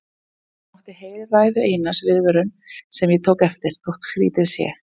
En það mátti heyra í ræðu Einars viðvörun sem ég tók eftir, þótt skrýtið sé.